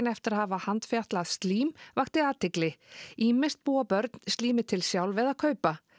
eftir að hafa handfjatlað slím vakti athygli ýmist búa börn slímið til sjálf eða kaupa